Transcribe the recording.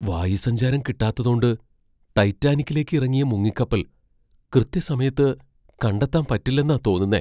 വായുസഞ്ചാരം കിട്ടാത്തതോണ്ട് ടൈറ്റാനിക്കിലേക്ക് ഇറങ്ങിയ മുങ്ങിക്കപ്പൽ കൃത്യസമയത്ത് കണ്ടെത്താൻ പറ്റില്ലെന്നാ തോന്നുന്നേ.